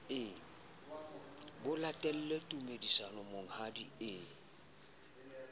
ho latele tumediso monghadi e